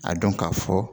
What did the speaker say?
A dɔn ka fɔ